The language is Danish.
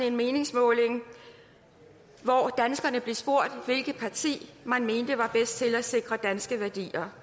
en meningsmåling hvori danskere blev spurgt om hvilket parti man mener er bedst til at sikre danske værdier der